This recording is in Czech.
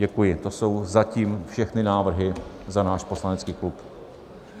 Děkuji, to jsou zatím všechny návrhy za náš poslanecký klub.